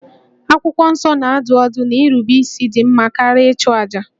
Akwụkwọ Nsọ na-adụ ọdụ na nrubeisi dị mma karịa ịchụ àjà